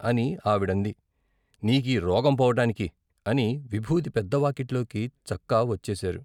అని ఆవిడంది నీకి రోగం పోవటానికి అని విబూది పెద్ద వాకిట్లోకి చక్కా వచ్చేశారు.